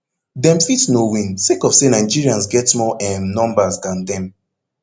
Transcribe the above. dem fit no win sake of say nigerians get more um numbers dan dem